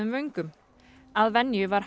vöngum að venju var